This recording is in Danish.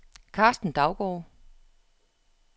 Carsten Daugaard